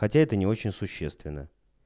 хотя это не очень существенна